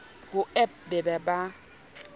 ho ewp e be ba